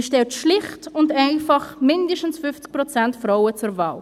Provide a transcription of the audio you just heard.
Man stellt schlicht und einfach mindestens 50 Prozent Frauen zur Wahl.